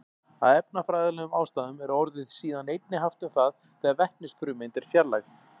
Af efnafræðilegum ástæðum er orðið síðan einnig haft um það þegar vetnisfrumeind er fjarlægð.